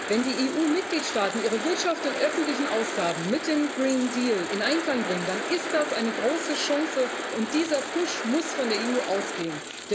Wenn die EU Mitgliedstaaten ihre Wirtschaft und öffentlichen Ausgaben mit dem Green Deal in Einklang bringen, dann ist das eine große Chance, und dieser Push muss von der EU ausgehen.